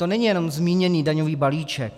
To není jenom zmíněný daňový balíček.